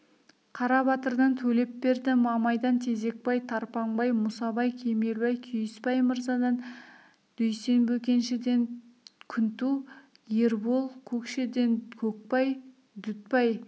қарабатырдан төлепберді мамайдан тезекбай тарпаңбай мұсабай кемелбай күйісбай мырзадан дүйсен бөкеншіден күнту ербол көкшеден көкбай дүтбай